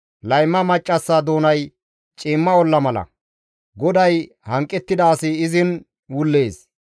Layma maccassa doonay ciimma olla mala; GODAY hanqettida asi izin wullees.